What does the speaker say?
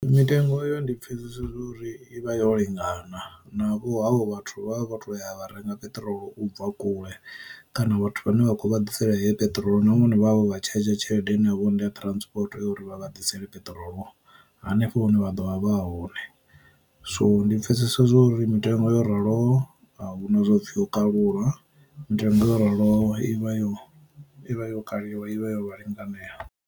Mitengo eyo ndi pfesese uri i vha yo lingana na vho havho vhathu vha vhathu vha ya vha renga peṱirolo u bva kule kana vhathu vhane vha khou vha ḓisela ye peṱirolo na vhone vhana vhavho vha tshadzha tshelede ine havho ndi a transport uri vha vha ḓisela peṱirolo hanefho hune vha ḓo vha vha hone. So ndi pfesesa uri mitengo yo raloho a huna upfi u kalula, mitengo yo raloho ivha yo ivha yo kaliwa i vha yo vha linanganea.